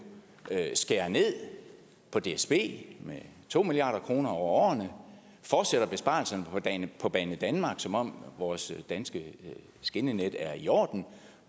skærer ned på dsb med to milliard kroner over årene fortsætter besparelserne på en på banedanmark som om vores danske skinnenet er i orden